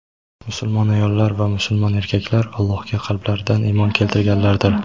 musulmon ayollar va musulmon erkaklar Allohga qalblaridan iymon keltirganlardir.